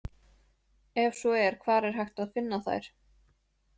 Ef svo er hvar er hægt að finna þær?